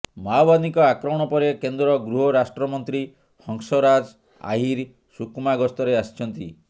ମାଓବାଦୀଙ୍କ ଆକ୍ରମଣ ପରେ କେନ୍ଦ୍ର ଗୃହ ରାଷ୍ଟ୍ରମନ୍ତ୍ରୀ ହଂସରାଜ ଆହିର ସୁକମା ଗସ୍ତରେ ଆସିଛନ୍ତି